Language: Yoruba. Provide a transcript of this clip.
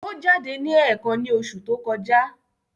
Ó jáde ní ẹ̀ẹ̀kan ní oṣù tó kọjá.